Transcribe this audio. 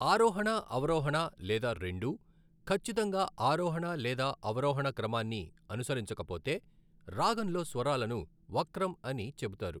ఆరోహణ, అవరోహణ లేదా రెండూ, ఖచ్చితంగా ఆరోహణ లేదా అవరోహణ క్రమాన్ని అనుసరించకపోతే, రాగంలో స్వరాలను వక్రం అని చెబుతారు.